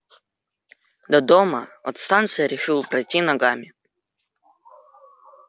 до дома от станции решил пройти ногами